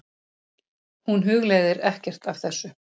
Hún hugleiðir ekkert af þessu.